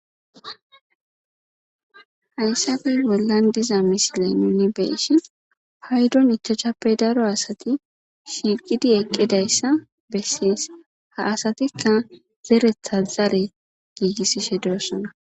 Heyisappe bollan diza missilen beishin payiddon ichachchappe daro asati shiiqidi eqidayisa beses ha asatika zereta zari giigisishe deosona.